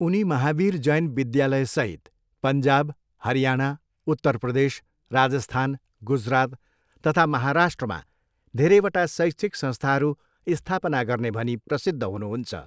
उनी महावीर जैन विद्यालयसहित पञ्जाब, हरियाणा, उत्तर प्रदेश, राजस्थान, गुजरात तथा महाराष्ट्रमा धेरैवटा शैक्षिक संस्थाहरू स्थापना गर्ने भनी प्रसिद्ध हुनुहुन्छ।